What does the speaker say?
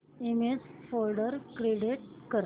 image folder create कर